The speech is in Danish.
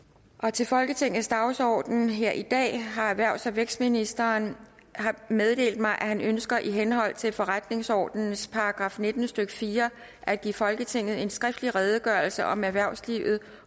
til folketingets dagsorden her i dag har erhvervs og vækstministeren meddelt mig at han ønsker i henhold til forretningsordenens § nitten stykke fire at give folketinget en skriftlig redegørelse om erhvervslivet